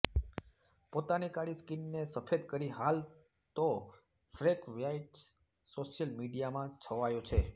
પોતાની કાળી સ્કિનને સફેદ કરી હાલ તો ફ્રેંક વ્હાઈટ સોશિયલ મીડિયામાં છવાયો છે